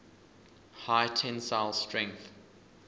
high tensile strength